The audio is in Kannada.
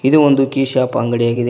ಇದು ಒಂದು ಕಿ ಶಾಪ್ ಅಂಗಡಿಯಾಗಿದೆ.